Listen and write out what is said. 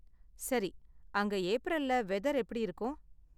சரி. அங்க ஏப்ரல்ல வெதர் எப்படி இருக்கும்?